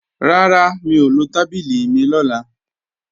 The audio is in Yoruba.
Rárá, mi ò lo tábìlì mi lọ́la